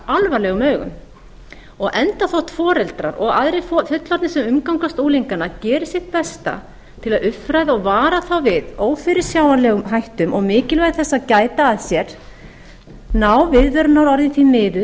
alvarlegum augum og enda þótt foreldrar og aðrir fullorðnir sem umgangast unglingana geri sitt besta til að uppfræða og vara þá við ófyrirsjáanlegum hættum og mikilvægi þess að gæta að sér ná viðvörunarorðin því miður